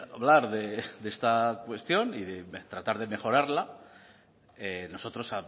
hablar de esta cuestión y de tratar de mejorarla nosotros